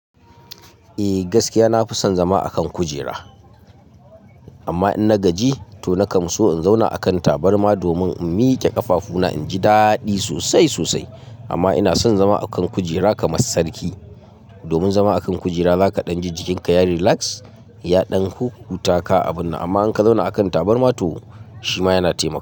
Eh gaskiya, na fi son zama a kan kujera. Amma in na gaji, to na kamso in zauna a kan tabarma domin in miƙe ƙafafuna inji daɗi sosai sosai. Amma ina son zama a kan kujera kamar sarki. Domin zama a kan kujera, zaka ɗan ji jikinka ya relax, ya ɗanku, huta ka abun nan. Amma in ka zauna a kan tabarma to shima yana taimako.